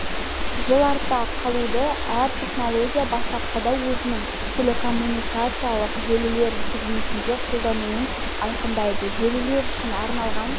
жыл артта қалуда әр технология бастапқыда өзінің телекоммуникациялық желілер сегментінде қолданылуын айқындайды желілер үшін арналған